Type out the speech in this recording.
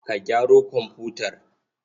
Ka gyaro komfutar?